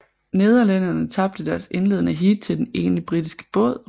Nederlænderne tabte deres indledende heat til den ene britiske båd